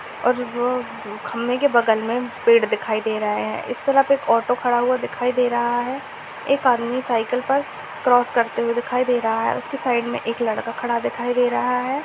और वो ब खंबे के बगल में पेड़ दिखाई दे रहा है। इस तरफ एक ऑटो खड़ा हुआ दिखाई दे रहा है। एक आदमी साइकिल पर क्रॉस करते हुए दिखाई दे रहा है। उसकी साइड में एक लड़का खड़ा दिखाई दे रहा है।